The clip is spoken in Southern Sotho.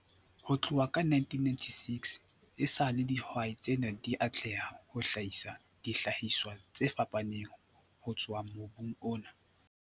Ho tloha ka 1996 esale dihwai tsena di atleha ho hlahisa dihlahiswa tse fapaneng ho tswa mobung ona.